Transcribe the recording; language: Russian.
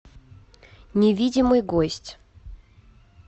невидимый гость